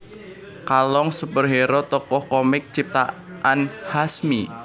Kalong superhero tokoh komik ciptaan Hasmi